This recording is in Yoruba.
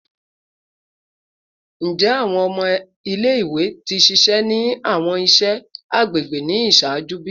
Njẹ awọn ọmọ ile-iwe ti ṣiṣẹ ni awọn iṣẹ iṣẹ agbegbe ni iṣaaju bi?